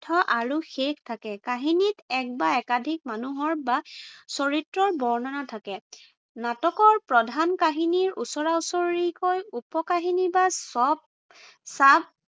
মধ্য় আৰু শেষ থাকে। কাহিনীত এক বা একাধিক মানুহৰ বা চৰিত্ৰৰ বৰ্ণনা থাকে। নাটকৰ প্ৰধান কাহিনীৰ ওচৰা ওচৰিকৈ উপ-কাহিনী বা sub